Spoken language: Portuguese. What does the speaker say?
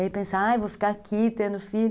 E aí pensar, vou ficar aqui tendo filho.